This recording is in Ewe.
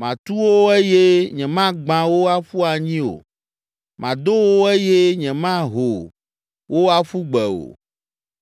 Matu wo eye nyemagbã wo aƒu anyi o. Mado wo eye nyemaho wo aƒu gbe o.